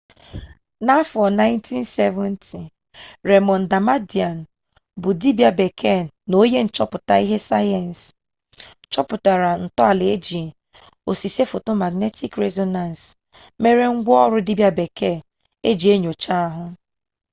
n'afọ 1970 remond damadian bụ dibia bekee na onye nchọpụta ihe sayensị chọpụtara ntọala iji osise foto magnetik rezonans mere ngwa ọrụ dibia bekee eji enyocha ahụ